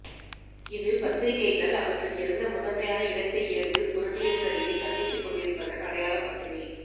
இது பத்திரிகைகள் அவற்றுக்கிருந்த முதன்மையான இடத்தை இழந்து பொருளியல்சரிவைச் சந்தித்துக் கொண்டிருப்பதன் அடையாளம் மட்டுமே